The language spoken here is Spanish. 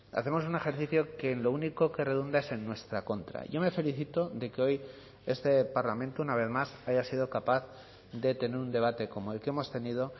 hacemos un ejercicio que en lo único que redunda es en nuestra contra yo me felicito de que hoy este parlamento una vez más haya sido capaz de tener un debate como el que hemos tenido